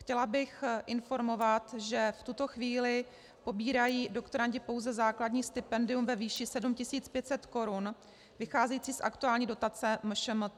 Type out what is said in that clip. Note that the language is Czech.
Chtěla bych informovat, že v tuto chvíli pobírají doktorandi pouze základní stipendium ve výši 7 500 korun, vycházející z aktuální dotace MŠMT.